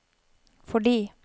fordi